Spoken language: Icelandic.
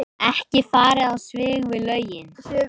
Ekki farið á svig við lögin